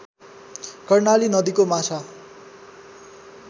कर्णाली नदीको माछा